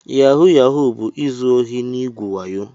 Yahu Yahu bu-izu ohi na igwu wayo.